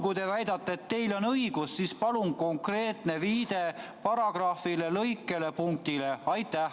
Kui te väidate, et teil on õigus, siis palun esitage viide konkreetsele paragrahvile, lõikele ja punktile.